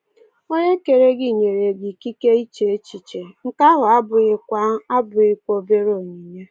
Onye kere gị nyere gị ‘ikike iche echiche’, nke ahụ abụghịkwa abụghịkwa obere onyinye.